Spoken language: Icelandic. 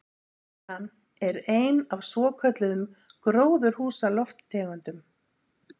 Metan er ein af svokölluðum gróðurhúsalofttegundum.